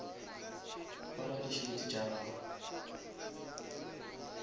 apara di shades tša gago